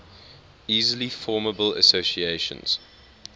easily formable associations